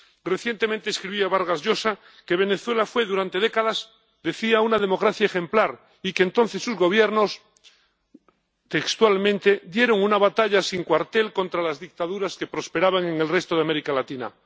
Recientemente escribía Vargas Llosa que Venezuela fue durante décadas una democracia ejemplar, y que entonces sus Gobiernos, textualmente, dieron una batalla sin cuartel contra las dictaduras que prosperaban en el resto de América Latina.